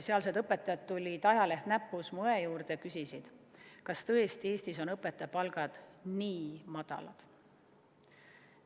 Sealsed õpetajad tulid, ajaleht näpus, mu õe juurde ja küsisid, kas tõesti Eestis on õpetajate palgad nii madalad.